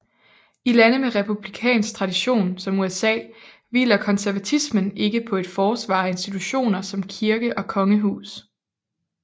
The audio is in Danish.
I lande med en republikansk tradition som USA hviler konservatismen ikke på et forsvar af institutioner som kirke og kongehus